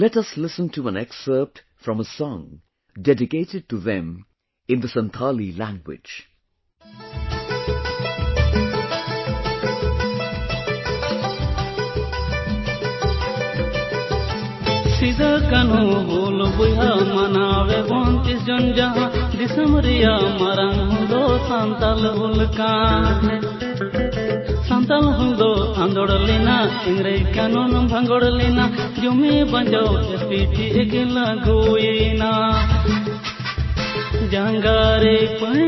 Let us listen to an excerpt from a song dedicated to them in Santhali language –